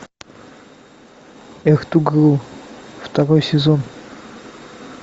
второй сезон